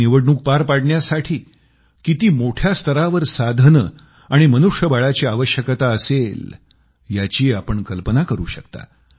ही निवडणूक पार पाडण्यासाठी किती मोठ्या स्तरावर साधने आणि मनुष्य बळाची आवश्यकता असेल याची आपण कल्पना करू शकता